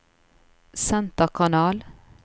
senterkanal